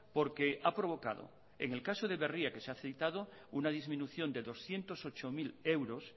porque ha provocado que en el caso de berria que se ha citado una disminución de doscientos ocho mil euros